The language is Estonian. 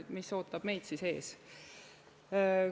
Mis ootab meid siis ees?